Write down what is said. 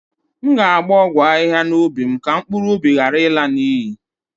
M ga-agba ọgwụ ahihia n'ubi m ka mkpụrụ ụbi ghara ịla n'iyi